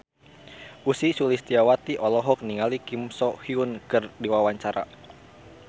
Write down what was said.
Ussy Sulistyawati olohok ningali Kim So Hyun keur diwawancara